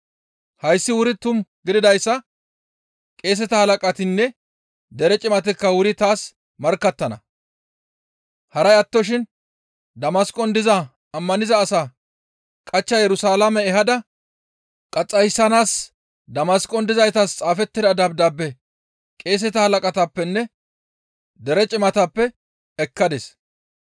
Hayssi wuri tumu gididayssa qeeseta halaqatinne dere cimatikka wuri taas markkattana; haray attoshin Damasqon diza ammaniza asaa qachcha Yerusalaame ehada qaxxayssanaas Damasqon dizaytas xaafettida dabdaabe qeeseta halaqatappenne dere cimatappe ekkadis.